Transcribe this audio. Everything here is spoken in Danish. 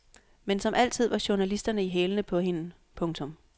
Men som altid var journalisterne i hælene på hende. punktum